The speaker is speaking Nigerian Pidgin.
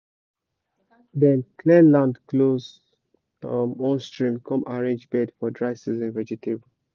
dem clear land close one stream come arrange bed for dry season vegetable